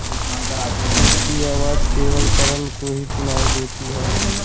उसकी आवाज केवल करन को ही सुनाई देती है